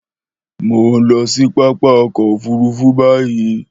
Mò ó lọ sí pápá ọkọ̀-òfurufú báyìí.